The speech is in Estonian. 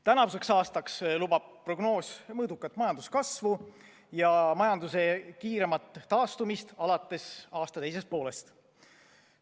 Tänavuseks aastaks lubab prognoos mõõdukat majanduskasvu ja majanduse kiiremat taastumist alates aasta teisest poolest.